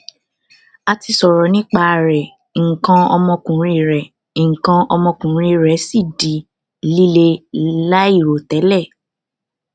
a ti sọ̀rọ̀ nípa rẹ̀ ǹkan omokùnrin rè ǹkan ọmọkùnrin rẹ̀ si di lile lairotele